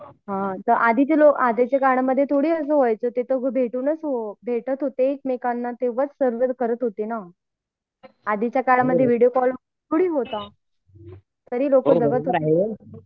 हा पण आधीच्या पण आधीच्या काळामध्ये ते यायचे पण ते भेटूनच येत होते सोबत होते ते ना आधीच्या काळात विडिओ कॉल थोडी होता तरी लोक जगत होते